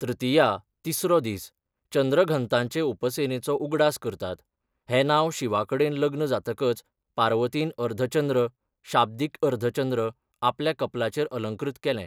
तृतीया तिसरो दीस चंद्रघंताचे उपासनेचो उगडास करतात हें नांव शिवाकडेन लग्न जातकच पार्वतीन अर्धचंद्र शाब्दिक अर्धचंद्र आपल्या कपलाचेर अलंकृत केलें.